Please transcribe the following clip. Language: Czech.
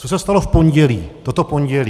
Co se stalo v pondělí, toto pondělí?